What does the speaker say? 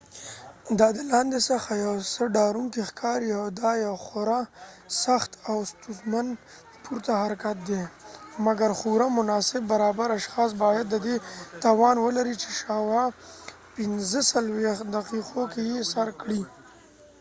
دا د لاندې څخه یو څه ډاروونکی ښکاري، او دا یو خورا سخت او ستونزمن پورته حرکت دی، مګر خورا مناسب برابر اشخاص باید د دې توان ولري چې شاوخوا ۴۵ دقیقو کې یې سر کړي